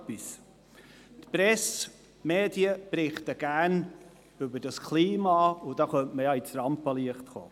Die Presse, die Medien berichten gerne über das Klima, und dabei könnte man ja ins Rampenlicht kommen.